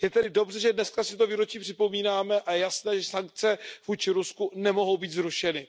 Je tedy dobře, že dneska si to výročí připomínáme, a je jasné, že sankce vůči Rusku nemohou být zrušeny.